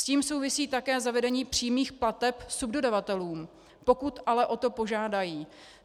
S tím souvisí také zavedení přímých plateb subdodavatelům, pokud ale o to požádají.